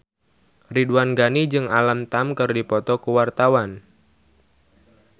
Ridwan Ghani jeung Alam Tam keur dipoto ku wartawan